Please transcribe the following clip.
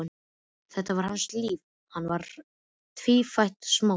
Þetta var hans líf, hann var tvífætt smásaga.